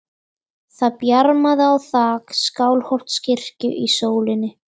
Það bjarmaði á þak Skálholtskirkju í sólinni.